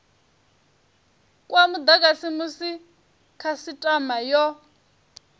kwa mudagasi musi khasitama yo